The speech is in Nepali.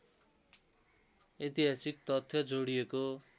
ऐतिहासिक तथ्य जोडिएको